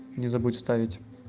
не забудь вставить